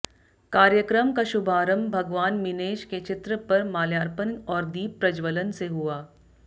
कार्यक्रम का शुभारंभ भगवान मीनेश के चित्र पर माल्यार्पण और दीप प्रज्जवलन से हुआ